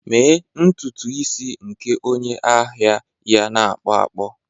Mee ntutu isi nke onye ahịa ya na ọkpọ ọkpọ